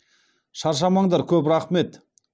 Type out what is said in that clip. шаршамаңдар көп рақмет